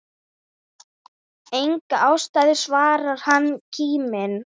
Enga ástæðu svarar hann kíminn.